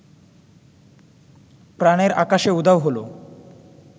প্রাণের আকাশে উধাও হলো